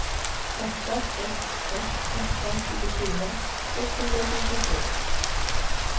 åtta sex ett åtta tjugofyra sexhundratjugosju